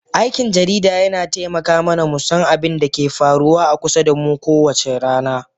Aikin jarida yana taimaka mana mu san abin da ke faruwa a kusa da mu kowace rana